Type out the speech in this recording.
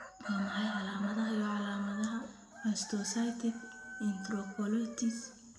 Waa maxay calaamadaha iyo calaamadaha mastocytic enterocolitis?